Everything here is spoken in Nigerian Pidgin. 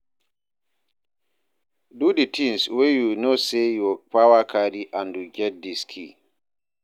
Do di thing wey you know sey your power carry and you get di skill